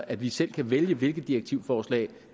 at vi selv kan vælge hvilket direktivforslag